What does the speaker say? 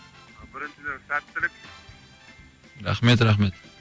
біріншіден сәттілік рахмет рахмет